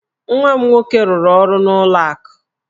Nwa m nwoke rụrụ ọrụ n'ụlọ akụ.